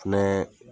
Fɛnɛ